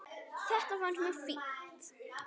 Þetta fannst mér fínt.